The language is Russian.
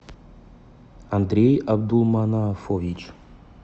андрей абдулманафович